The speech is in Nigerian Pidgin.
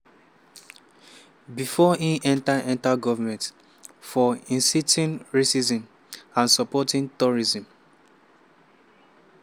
bifor im enta enta goment – for inciting racism and supporting terrorism.